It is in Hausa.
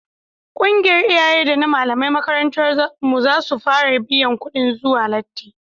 ƙungiyar iyaye da na malaman makarantar mu za su fara biyan kudin zuwa lati